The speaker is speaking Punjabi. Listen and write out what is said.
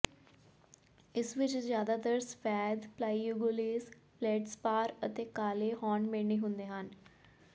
ਇਸ ਵਿੱਚ ਜਿਆਦਾਤਰ ਸਫੈਦ ਪਲਾਈਓਗੋਲੇਜ ਫਲੇਡਸਪਾਰ ਅਤੇ ਕਾਲੇ ਹੌਰਨਬੈਂਡੇ ਹੁੰਦੇ ਹਨ